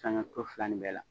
Sanga sɔ fila nin bɛɛ la.